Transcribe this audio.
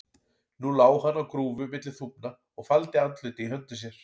Nú lá hann á grúfu milli þúfna og faldi andlitið í höndum sér.